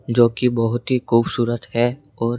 जो कि बहुत ही खूबसूरत है और--